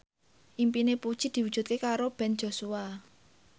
impine Puji diwujudke karo Ben Joshua